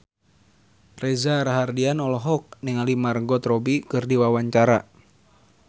Reza Rahardian olohok ningali Margot Robbie keur diwawancara